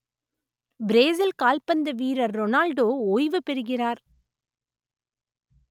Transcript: Brazil கால்பந்து வீரர் Ronaldo ஓய்வுபெறுகிறார்